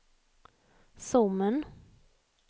Sommen